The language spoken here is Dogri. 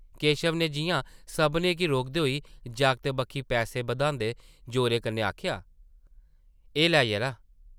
केशव नै जिʼयां सभनें गी रोकदे होई जागतै बक्खी पैसे बधांदे जोरै कन्नै आखेआ ,‘‘ एह् लै ,यरा ।’’